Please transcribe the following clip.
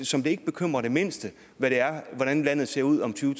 som det ikke bekymrer det mindste hvordan landet ser ud om tyve